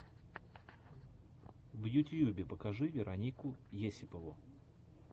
в ютьюбе покажи веронику есипову